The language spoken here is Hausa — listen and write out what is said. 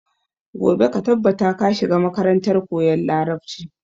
Gobe ka tabbata ka shiga makarantar koyan Larabci.